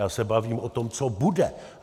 Já se bavím o tom, co bude.